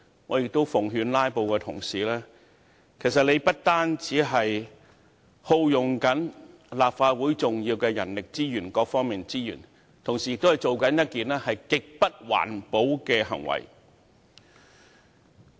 我在此奉勸"拉布"的同事，他們的行為不單耗用立法會重要的人力資源及各方面的資源，同時亦是一種極不環保的行為。